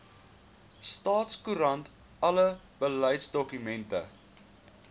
staatskoerant alle beleidsdokumente